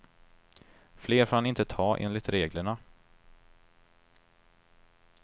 Fler får han inte ta enligt reglerna.